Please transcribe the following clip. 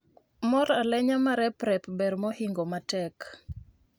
Mor alenya mareprep ber mohingo matek